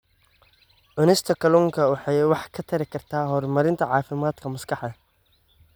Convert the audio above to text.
Cunista kalluunka waxay wax ka tari kartaa horumarinta caafimaadka maskaxda.